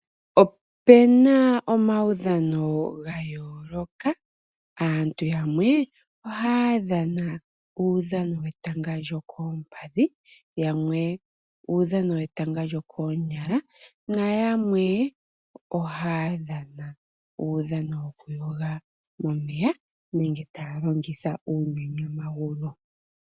Opuna omaudhano ga yooloka, aantu yamwe ohaya dhana uudhano wetanga lyookoompadhi, yamwe uudhano wetanga lyokoonyala nayamwe ohaya dhana uudhano woku yoga momeya nenge taya longitha uunyanyamagulu.